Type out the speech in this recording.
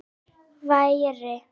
Sævar væri.